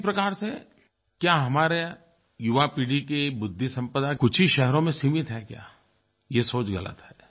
उसी प्रकार से क्या हमारे युवा पीढ़ी की बुद्धिसंपदा कुछ ही शहरों में सीमित है क्या ये सोच गलत है